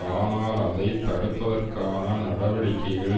ஆனால் அதை தடுப்பதற்கான நடவடிக்கைகள்